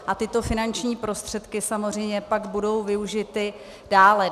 A tyto finanční prostředky samozřejmě pak budou využity dále.